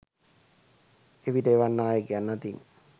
එවිට එවන් නායකයන් අතින්